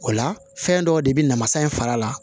O la fɛn dɔw de bɛ na masa in fara la